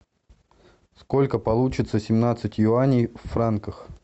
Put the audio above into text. сколько получится семнадцать юаней в франках